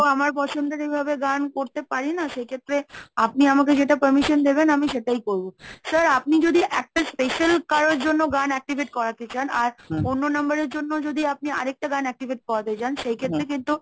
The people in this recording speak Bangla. আমি তো আমার পছন্দের এইভাবে গান করতে পারি না সেক্ষেত্রে আপনি আমাকে যেটা permission দেবেন আমি সেটাই করবো। sir আপনি যদি একটা special কারোর জন্য গান activate করাতে চান আর অন্য number এর জন্য যদি আপনি আরেকটা গান activate করতে চান সেই ক্ষেত্রে কিন্তু